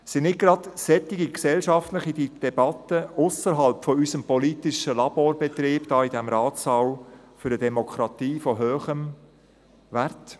Sind nicht gerade solche gesellschaftliche Debatten ausserhalb unseres politischen Laborbetriebs hier in diesem Ratssaal für eine Demokratie von hohem Wert?